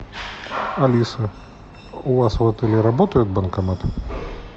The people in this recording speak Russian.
алиса у вас в отеле работают банкоматы